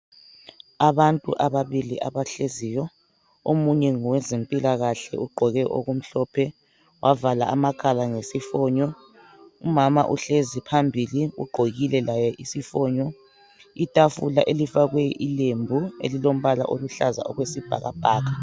Abantu ababili abahleziyo omunye ngowezempilakahle ugqoke okumhlophe wavala amakhala ngezifonyo umama uhlezi phambili ugqokile laye isifonyo itafula elifakwe ilembu elilombala oluhlaza okwesibhakabhaka.